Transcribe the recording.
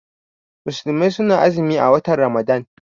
Musulmai suna azumi a watan ramadan.